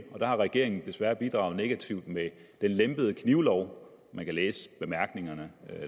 og der har regeringen desværre bidraget negativt med den lempede knivlov man kan læse i bemærkningerne